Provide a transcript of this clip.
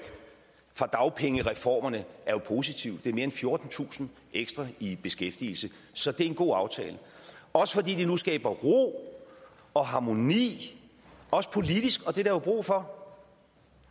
fra dagpengereformerne er jo positivt det er mere end fjortentusind ekstra i beskæftigelse så det er en god aftale også fordi den nu skaber ro og harmoni også politisk og det er der jo brug for